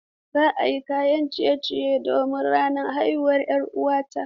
Zan yi kayan ciye-ciye don ranar haihuwar 'yar uwata.